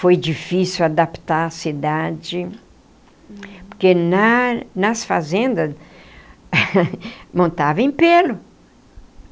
Foi difícil adaptar a cidade, porque na nas fazendas montava em pelo.